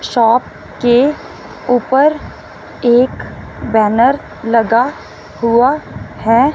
Shop के ऊपर एक बैनर लगा हुआ है।